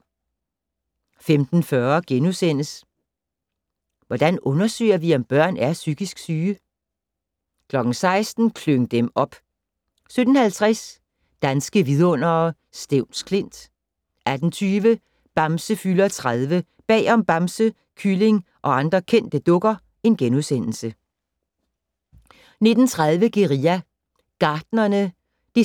15:40: Hvordan undersøger vi, om børn er psykisk syge? * 16:00: Klyng dem op! 17:50: Danske vidundere: Stevns Klint 18:20: Bamse fylder 30 - Bag om Bamse, Kylling og andre kendte dukker * 19:30: Guerilla Gartnerne (8:8) 20:00: